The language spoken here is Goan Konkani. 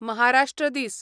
महाराष्ट्र दीस